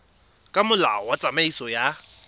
ka molao wa tsamaiso ya